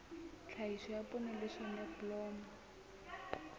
tlhahiso ya poone le soneblomo